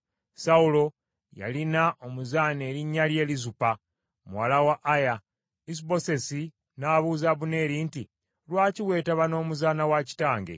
Sawulo yalina omuzaana erinnya lye Lizupa muwala wa Aya. Isubosesi n’abuuza Abuneeri nti, “Lwaki weetaba n’omuzaana wa kitange?”